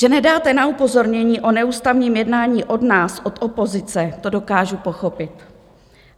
Že nedáte na upozornění o neústavním jednání od nás, od opozice, to dokážu pochopit.